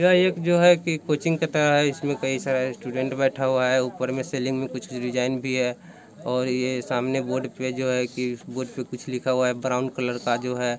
यह एक जो है| एक कोचिंग की तरह है इसमें कई सारे स्टूडेंट बैठा हुए हैं| उपर में सीलिंग में कोई डिज़ाइन भी है और यह सामने बोर्ड पर जो है कि बोर्ड पर कुछ लिखा हुआ है ब्राउन कलर का जो है।